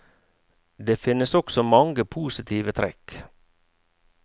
Det finnes også mange positive trekk.